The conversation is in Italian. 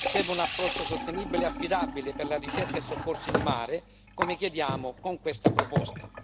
Serve un approccio sostenibile e affidabile per la ricerca e soccorso in mare, come chiediamo con questa proposta.